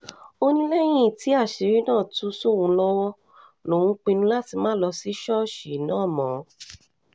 ó ní lẹ́yìn tí àṣírí náà tú sóun lọ́wọ́ lòún pinnu láti má lọ sí ṣọ́ọ̀ṣì náà mọ́